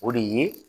O de ye